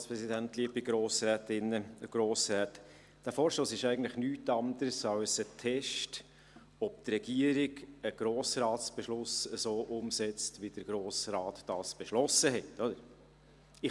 Der Vorstoss ist nichts anderes als ein Test, ob die Regierung einen Grossratsbeschluss so umsetzt, wie der Grosse Rat diesen beschlossen hat.